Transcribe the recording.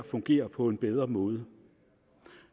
fungere på en bedre måde